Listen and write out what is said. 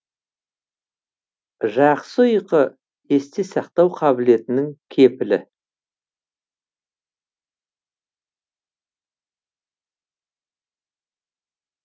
жақсы ұйқы есте сақтау қабілетінің кепілі